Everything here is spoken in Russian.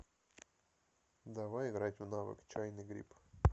давай играть в навык чайный гриб